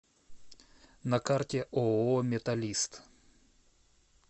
на карте ооо металлист